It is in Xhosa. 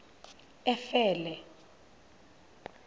efele